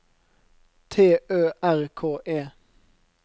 T Ø R K E